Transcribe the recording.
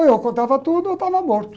Ou eu contava tudo, ou eu estava morto.